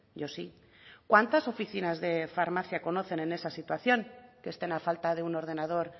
yo sí cuántas oficinas de farmacia conocen en esa situación que estén a falta de un ordenador